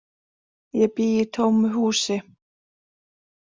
Ég bý í tómu húsi.